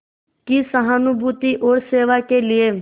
की सहानुभूति और सेवा के लिए